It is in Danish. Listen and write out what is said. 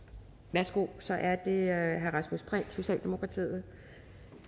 værsgo så er det herre rasmus prehn socialdemokratiet